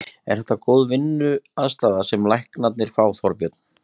Er þetta góð vinnuaðstaða sem læknarnir fá, Þorbjörn?